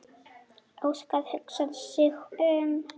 Óskar hugsaði sig um.